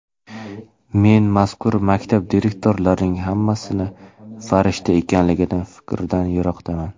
Men mazkur maktab direktorlarining hammasi farishta ekanligi fikridan yiroqman.